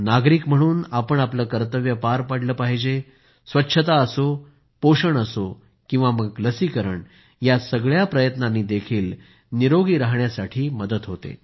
नागरिक म्हणून आपण आपले कर्तव्य पार पडले पाहिजे स्वच्छता असो पोषण असो किंवा मग लसीकरण या सगळ्या प्रयत्नांनी देखील निरोगी राहायला मदत होते